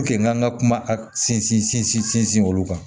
n k'an ka kuma a sinsin sinsin olu kan